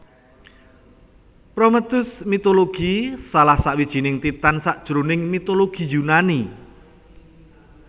Prométhéus mitologi salah sawijining Titan sajroning mitologi Yunani